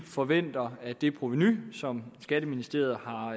forventer at det provenu som skatteministeriet har